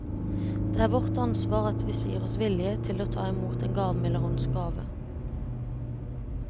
Det er vårt ansvar at vi sier oss villige til å ta imot den gavmilde hånds gave.